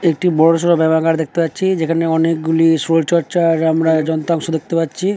একটি বড়ো সরু বেড়াকার দেখতে পাচ্ছি যেখানে অনেক গুলি শরীর চর্চা আমরা যন্ত্রাংশ দেখতে পাচ্ছি।